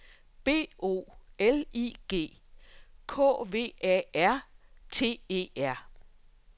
B O L I G K V A R T E R